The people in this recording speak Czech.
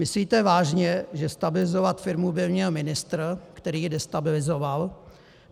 Myslíte vážně, že stabilizovat firmu by měl ministr, který ji destabilizoval?